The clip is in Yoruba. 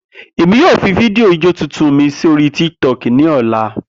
Emi yoo fi fidio ijó tuntun mi sori Tik Tok ni ọla.